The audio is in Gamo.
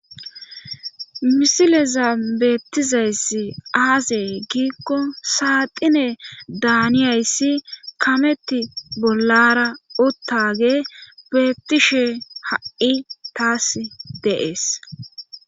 misileza beettizayss aazey giikko saaxine daaniyayssi kametti bollara uttage beettishe ha7i taas dees